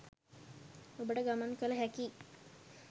ඔබට ගමන් කල හැකියි.